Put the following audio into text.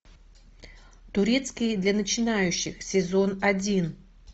турецкий для начинающих сезон один